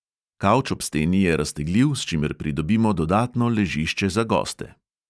Kavč ob steni je raztegljiv, s čimer pridobimo dodatno ležišče za goste.